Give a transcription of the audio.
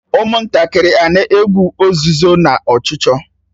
Ụmụntakịrị a na-egwu ozuzo na ọchụchọ?